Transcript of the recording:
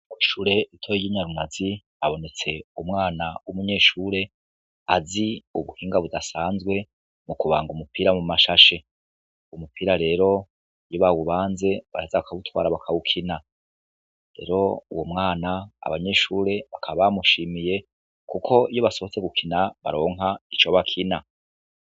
Kw'ishure ritoyi ry'i Nyarunazi habonetse umwana w'umunyeshure azi ubuhinga budasanzwe mu kubanga umupira mu masashe. Umupira rero, iyo bawubanze, baraheza bakawutwara bakawukina. Rero uwo mwana abanyeshure bakaba bamushimiye kuko iyo basohotse gukina baronka ico bakina.